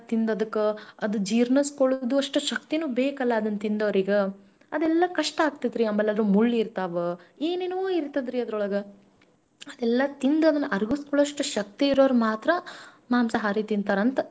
ನನ್ನನಿಸಿಕೆ ಈಗ ನೋಡ್ರಿ ಸೌತೆಕಾಯಿ ಒಳಗ vitamin ಇರತದ ಗಜ್ಜರಿಯೊಳಗ ಇರತದ ತಪ್ಪಲ್ ಪಲ್ಲೆಯೊಳಗ ಇರ್ತದ ಕಾಳ್ ಒಳಗ್ ಇರ್ತದ ಎಲ್ಲಾ vitamin ಇರುವಂತ ಅಹ್ ಸಾಮಗ್ರಿನ್ ಬಿಟ್ಟು ನಾವ ಯಾಕ ಪಾಪ ಅದಕ್ಕೆ ನಾನ ಹೇಳ್ತಿರೋದು, ನಾನ್ ಒಂದು ಸಣ್ಣ ಹುಡುಗಿ.